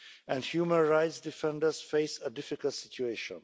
and human rights defenders face a difficult situation.